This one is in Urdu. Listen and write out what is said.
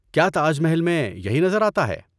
کیا تاج محل میں یہی نظر آتا ہے؟